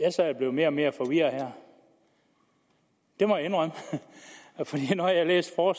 jeg sad og blev mere og mere forvirret her det må jeg indrømme for når jeg læser